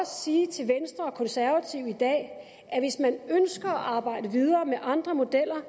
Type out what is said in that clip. sige til venstre og konservative i dag at hvis man ønsker at arbejde videre med andre modeller er